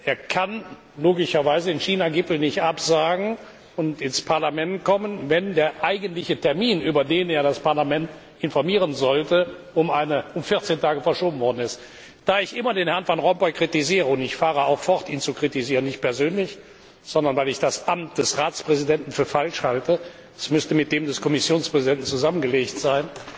Er kann logischerweise den China Gipfel nicht absagen und ins Parlament kommen, wenn der eigentliche Termin, über den er das Parlament informieren sollte, um 14 Tage verschoben worden ist. Da ich immer Herrn van Rompuy kritisiere und ich fahre auch fort, ihn zu kritisieren, nicht persönlich, sondern weil ich das Amt des Ratspräsidenten für falsch halte, es müsste mit dem des Kommissionspräsidenten zusammengelegt sein